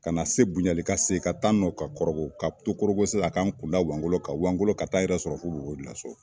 Ka na se bonyali ka segi ka taa n nɔ ka kɔrɔgɔ ka to kɔrɔgɔ sisan ka n kun da wangolo kan wangolo ka taa yɛrɛ sɔrɔ fo bobo julaso